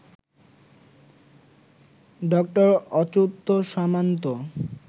ডঃ Achyuta সামন্ত